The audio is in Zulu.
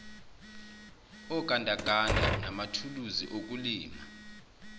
ogandaganda manathuluzi okulima